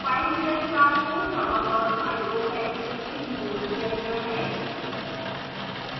filereader class को java dot io package से imported किया गया है